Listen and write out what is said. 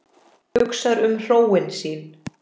Hugsar um hróin sín.